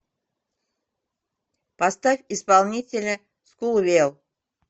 поставь исполнителя скулвел